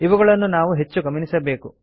ಇವುಗಳನ್ನು ನಾವು ಹೆಚ್ಚು ಗಮನಿಸಬೇಕು